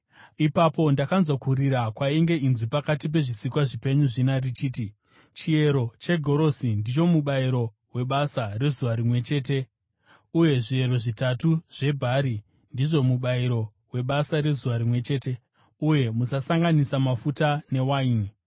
Ipapo ndakanzwa kurira kwainge inzwi pakati pezvisikwa zvipenyu zvina richiti, “Chiyero chegorosi ndicho mubayiro webasa rezuva rimwe chete, uye zviyero zvitatu zvebhari ndizvo mubayiro webasa rezuva rimwe chete, uye musakanganisa mafuta newaini!”